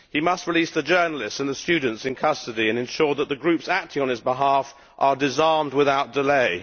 He must release the journalists and the students in custody, and ensure that the groups acting on his behalf are disarmed without delay.